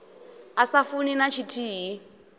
a sa funi na tshithihi